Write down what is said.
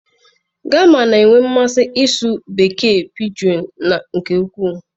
Gema na-enwe mmasị ịsụ Bekee piijiụ nke ukwuu.